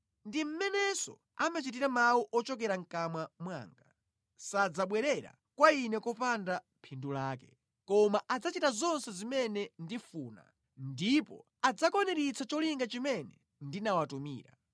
Ndi mmenenso amachitira mawu ochokera mʼkamwa mwanga. Sadzabwerera kwa Ine kopanda phindu lake, koma adzachita zonse zimene ndifuna, ndipo adzakwaniritsa cholinga chimene ndinawatumira.